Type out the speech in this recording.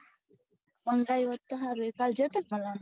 મંગાઈ ઓત તો સારું હતું કાલે ગયા હતા ને મળવા